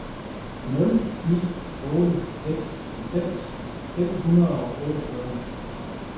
nul ni otte seks halvfems fem hundrede og otteogfyrre